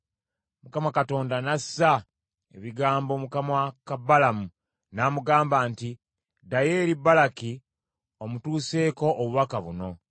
Mukama Katonda n’assa ebigambo mu kamwa ka Balamu n’amugamba nti, “Ddayo eri Balaki omutuuseeko obubaka buno.”